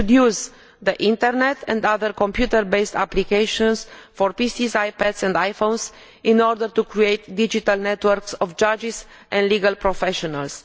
We should use the internet and other computer based applications for PCs, iPads and iPhones in order to create digital networks of judges and legal professionals.